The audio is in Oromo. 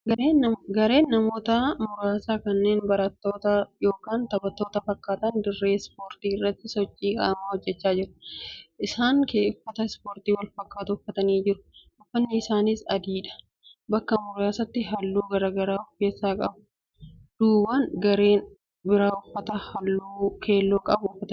1.Gareen namoota muraasa kanneen barattoota yookaan taphattoota fakkaatan dirree ispoortii irratti sochii qaamaa hojjechaa jiru. 2.Isaan uffata ispoortii walfakkaatu uffatanii jiru; uffatni isaaniis adiidha; bakka muraasaatti halluu garagaraa of keessaa qaba. 3.Duubaan gareen biraa uffata halluu keelloo qabu uffatee mul’ata.